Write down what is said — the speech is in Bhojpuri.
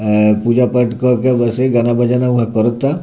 अ पूजा-पाठ कर के ऊपर से गाना बजाना वहाँ करता।